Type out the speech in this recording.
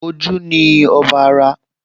Ojú ni ọba ara